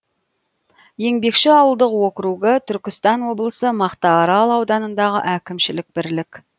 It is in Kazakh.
еңбекші ауылдық округі түркістан облысы мақтаарал ауданындағы әкімшілік бірлік